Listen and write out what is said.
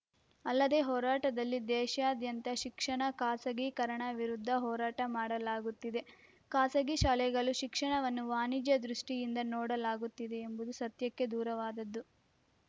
ಅಲ್ಲದೆ ಹೋರಾಟದಲ್ಲಿ ದೇಶಾದ್ಯಂತ ಶಿಕ್ಷಣ ಖಾಸಗೀಕರಣ ವಿರುದ್ಧ ಹೋರಾಟ ಮಾಡಲಾಗುತ್ತಿದೆ ಖಾಸಗಿ ಶಾಲೆಗಳು ಶಿಕ್ಷಣವನ್ನು ವಾಣಿಜ್ಯ ದೃಷ್ಟಿಯಿಂದ ನೋಡಲಾಗುತ್ತಿದೆ ಎಂಬುದು ಸತ್ಯಕ್ಕೆ ದೂರವಾದದ್ದು